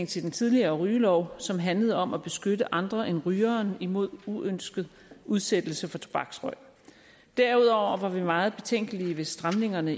til den tidligere rygelov som handlede om at beskytte andre end rygeren imod uønsket udsættelse af tobaksrøg derudover var vi meget betænkelige ved stramningerne